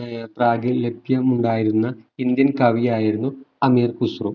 ഏർ പ്രാകി ലഭ്യം ഉണ്ടായിരുന്ന ഇന്ത്യൻ കവിയായിരുന്നു അമീർ ഖുസ്‌റോ